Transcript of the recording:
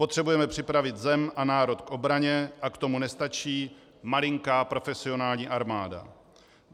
Potřebujeme připravit zem a národ k obraně a k tomu nestačí malinká profesionální armáda.